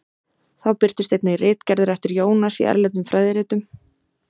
Þá birtust einnig ritgerðir eftir Jónas í erlendum fræðiritum.